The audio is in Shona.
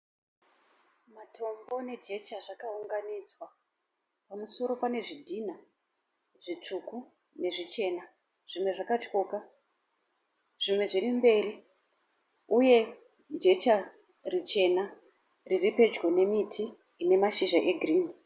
Matombo nejecha zvakaunganidzwa pamusoro pane zvidhinha zvitsvuku nezvichena zvimwe zvakatyoka zvimwe zviri mberi. Uye jecha richena riri pedyo nemiti ine mashizha egirinhi.